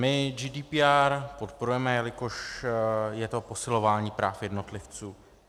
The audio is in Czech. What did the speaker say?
My GDPR podporujeme, jelikož je to posilování práv jednotlivců.